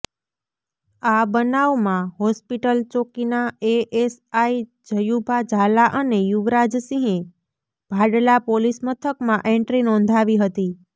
આ બનાવમાં હોસ્પિટલ ચોકીના એએસઆઈ જયુભા ઝાલા અને યુવરાજસિંહે ભાડલા પોલીસ મથકમાં એન્ટ્રી નોંધાવી હતી